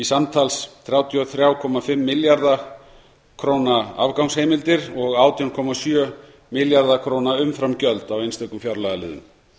hundruð þrjátíu og fimm milljarða króna afgangsheimildir og átján komma sjö milljarða króna umframgjöld á einstökum fjárlagaliðum